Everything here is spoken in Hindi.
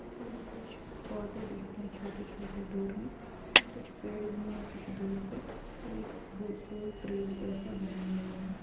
पर कुछ पौधे दिख रहे है छोटे-छोटे दूर में और कुछ पेड़ भी है कुछ दूर पे पर एक पो- पोल ब्रिज जैसे बनाया हुआ है।